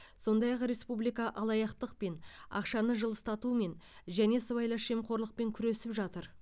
сондай ақ республика алаяқтықпен ақшаны жылыстатумен және сыбайлас жемқорлықпен күресіп жатыр